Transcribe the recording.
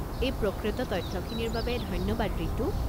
এই প্ৰকৃত তথ্যখিনিৰ বাবে ধন্যবাদ ৰিতু।